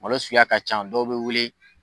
Malo suguya ka ca ,dɔw be wele